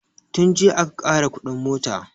Tun jiya aka ƙara kuɗin mota